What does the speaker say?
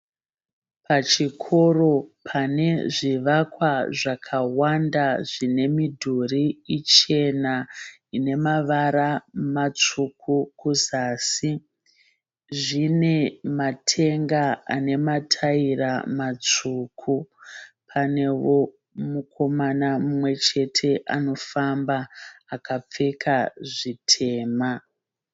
Pachikoro pane zvivakwa zvakawanda zvine midhuri ichena inemavara matsvuku kuzasi . Zvine matenga ane mataira matsvuku . Panewo mukomana mumwechete anofamba akapfeka zvitema.